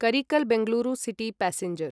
करिकल् Bengaluru city passenger